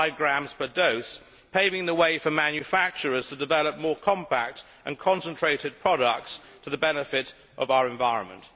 0.5 grams per dose, paving the way for manufacturers to develop more compact and concentrated products to the benefit of our environment.